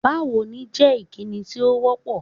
Báwo ni jẹ́ ìkíni tí ó wọ́ pọ̀.